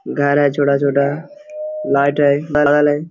घर है छोटा-छोटा लाइट है बड़ा वाले।